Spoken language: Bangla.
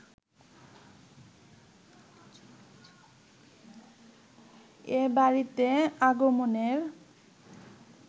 এ বাড়িতে আগমনের